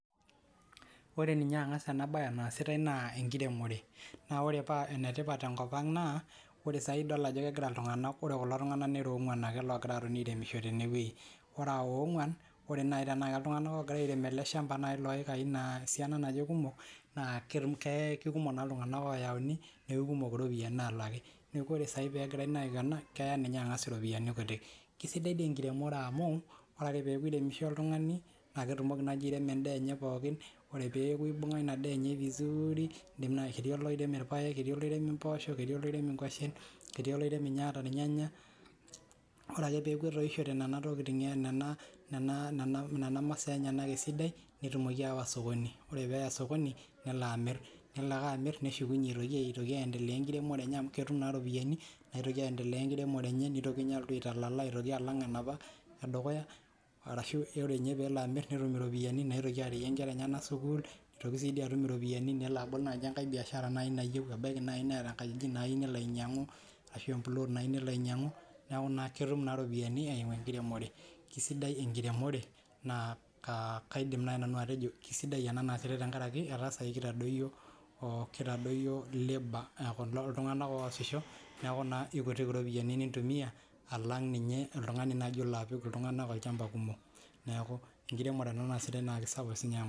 Ore ninye angas anaasitai tene naa enkiremore, naa ore paa enetipat te nkop ang naa ore saahii kulo tungana nera oong'waan loongira aairemisho tene wueji ore aa oong'waan, ore teenaa iltung'anak naaji kumok oogira aairem iikai esiana kumok naa kikumok naa ltung'ana olaaki naa kumok iropiyiani naalaki. Neeku ore ninye angas ena naa keya iropiyiani kitik. Kisidai dii enkiremore amuu ore ake peeku iremisho oltung'ani naa ketumoki airemu endaa enye pookin, ore peeku ibung'a ina daa enye vizuuri nelo aitoki airemu mpoosho, etii oloiremu rpaek ketii oloiremu ninye ata irnyanya teneeku etoishote nena maasaa enyenak esidai, netumoki sawa sokoni ore pee eya sokoni nelo amirr, nelo ake amirr neshukunye aitoki enkiremore enye amu ketum naa iropiyiani nitoki ninye aitalala alang enapa edukuya arashuu itoki atum inaarewue nkera enyenak sukuul nitoki sii dii atum iropiyiani nelo abol biaashara naijo ebaiki naaji Neeta empuloot nayieu nelo ainyang'u ashuu enkaji nayieu nelo ainyang'u, neeku ketum naa iropiyiani naaimu enkiremore. Neeku kisidai enkiremore naa kisidai ena amuu kitadoyio kilo tung'ana oosisho neeku kikutik iropiyiani nintumiya alang ninye oltung'ani olaapik olchamba iltung'ana kumok. Neeku enkiremore ena.